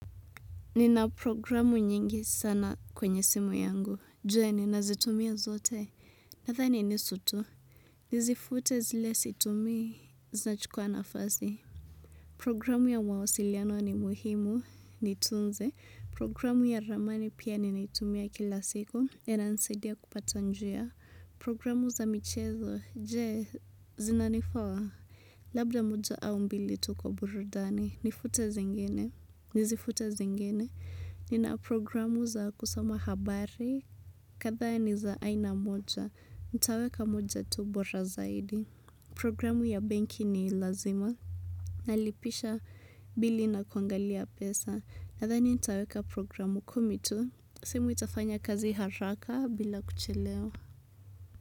Nina programu nyingi sana kwenye simu yangu. Je, ninazitumia zote? Nathani nusu tu, nizifute zile situmii zinachukua nafasi Programu ya mawasiliano ni muhimu, nitunze, programu ya ramani pia ninaitumia kila siku, na inanisaidia kupata njia, programu za michezo, je zinanifaa? Labda moja au mbili tu kwa burudani, nifute zingine, nizifute zingine. Nina programu za kusoma habari; kadhaa ni za aina moja. Nitaweka moja tu bora zaidi Programu ya banki ni lazima; nalipisha bili na kuangalia pesa. Nadhani nitaweka programu kumi tu, simu itafanya kazi haraka bila kuchelewa.